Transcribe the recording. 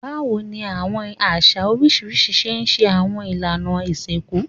Bawo ni awọn aṣa oriṣiriṣi ṣe ṣe awọn ilana isinku?